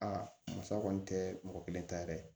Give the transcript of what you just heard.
Aa musa kɔni tɛ mɔgɔ kelen ta ye dɛ